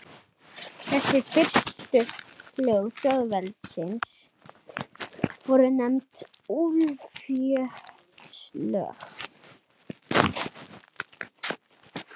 Ljósunn, mun rigna í dag?